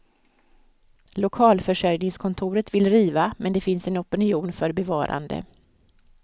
Lokalförsörjningskontoret vill riva, men det finns en opinion för bevarande.